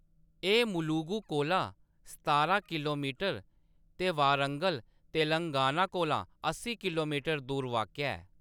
एह्‌‌ मुलुगु कोला सतारां किलोमीटर ते वारंगल, तेलंगाना कोला अस्सी किलोमीटर दूर वाक्या ऐ।